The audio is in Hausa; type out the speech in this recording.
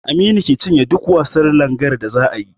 Aminu ke cinye duk wasan langar da zaa yi